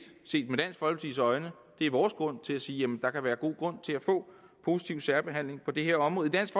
vores grund til at sige at der kan være god grund til at få positiv særbehandling på det her område dansk